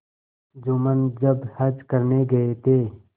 जुम्मन जब हज करने गये थे